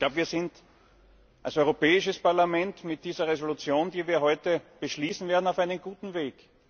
Wir sind als Europäisches Parlament mit dieser Entschließung, die wir heute beschließen werden, auf einem guten Weg.